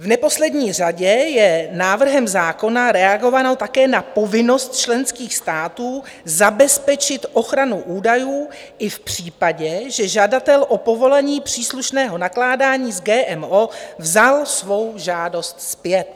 V neposlední řadě je návrhem zákona reagováno také na povinnost členských států zabezpečit ochranu údajů i v případě, že žadatel o povolení příslušného nakládání s GMO vzal svou žádost zpět.